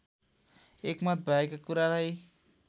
एकमत भएका कुरालाई